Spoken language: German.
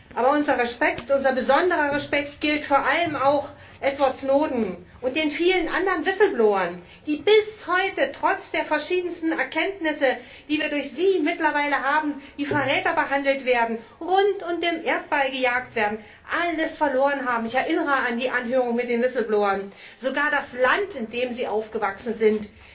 Aber unser besonderer Respekt gilt vor allem auch Edward Snowden und den vielen anderen Whistleblowern, die bis heute trotz der verschiedensten Erkenntnisse, die wir durch sie mittlerweile haben, wie Verräter behandelt werden, rund um den Erdball gejagt werden, alles verloren haben ich erinnere an die Anhörung mit den Whistleblowern sogar das Land, in dem sie aufgewachsen sind,